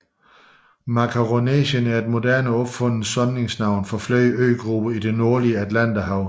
Makaronesien er et moderne opfundet samlingsnavn på flere øgrupper i det nordlige Atlanterhav